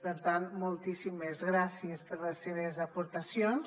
per tant moltíssimes gràcies per les seves aportacions